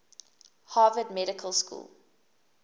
harvard medical school